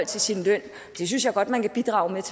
sin løn det synes jeg godt man kan bidrage